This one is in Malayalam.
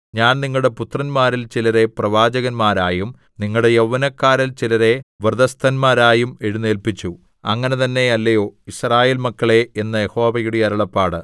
ഞാൻ നിങ്ങളുടെ പുത്രന്മാരിൽ ചിലരെ പ്രവാചകന്മാരായും നിങ്ങളുടെ യൗവനക്കാരിൽ ചിലരെ വ്രതസ്ഥന്മാരായും എഴുന്നേല്പിച്ചു അങ്ങനെ തന്നെ അല്ലയോ യിസ്രായേൽ മക്കളേ എന്ന് യഹോവയുടെ അരുളപ്പാട്